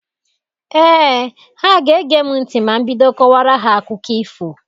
Ee, ha ga-ege m ntị ma m bido kọwara ha akụkọ ifo.